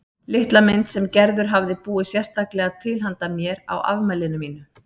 Litla mynd sem Gerður hafði búið sérstaklega til handa mér á afmælinu mínu.